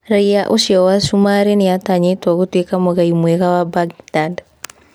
Raiya ũcio wa Cumaarĩ nĩ atanyĩtwo gũtuĩka mũgai mwega wa Mbagindad.